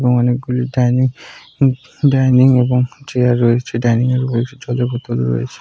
এবং অনেক গুলি ডাইনিং ডাইনিং এবং চেয়ার রয়েছে ডাইনিং উপরে জলের বোতল ওরয়েছে।